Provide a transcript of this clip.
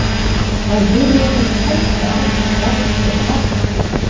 Þá heyri ég það hvæsa að mér lágt og hatursfullt